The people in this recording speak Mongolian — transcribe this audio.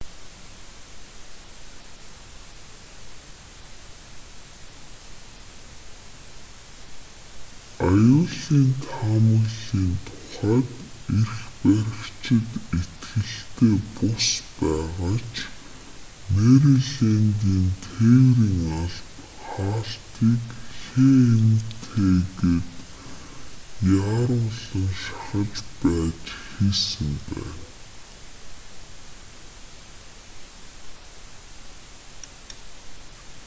аюулын таамаглалын тухайд эрх баригчид итгэлтэй бус байгаа ч мэрилэндийн тээврийн алба хаалтыг хмт-г яаруулан шахаж байж хийсэн байна